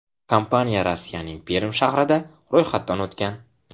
Kompaniya Rossiyaning Perm shahrida ro‘yxatdan o‘tgan.